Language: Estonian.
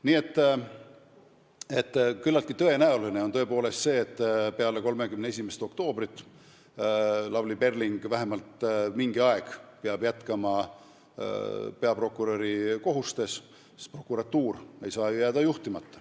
Nii et on tõepoolest küllaltki tõenäoline, et pärast 31. oktoobrit peab Lavly Perling vähemalt mingi aeg jätkama peaprokuröri kohusetäitjana, sest prokuratuur ei saa ju jääda juhtimata.